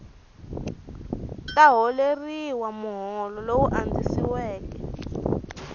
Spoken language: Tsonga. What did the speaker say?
ta holeriwa muholo lowu andzisiweke